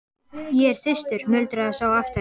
Ég er þyrstur muldraði sá aftari.